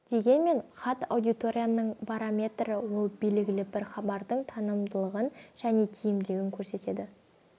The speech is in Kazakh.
дегенмен хат аудиторияның барометрі ол белгілі бір хабардың танымалдығын және тиімділігін көрсетеді